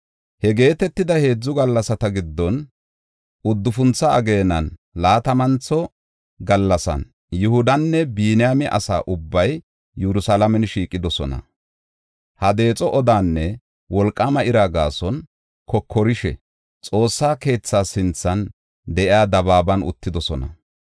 He geetetida heedzu gallasata giddon, uddufuntho ageenan laatamantho gallasan Yihudanne Biniyaame asa ubbay Yerusalaame shiiqidosona. Ha deexo odaanne wolqaama ira gaason, kokorishe, Xoossaa keetha sinthan de7iya dabaaban uttidosona.